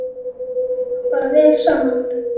Fólk á bara vel saman.